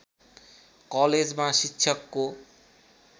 कलेजमा शिक्षकको